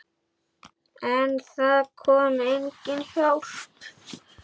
En það kom engin hjálp.